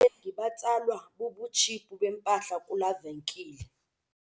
Abathengi batsalwa bubutshiphu bempahla kulaa venkile.